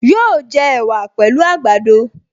Yóò jẹ ẹ̀wà pẹ̀lú àgbàdo